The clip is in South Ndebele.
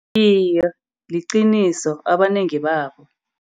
Iye, liqiniso abanengi babo.